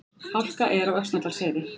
Hálka er á Öxnadalsheiði